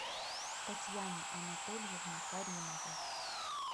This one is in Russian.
татьяне анатольевне каримовой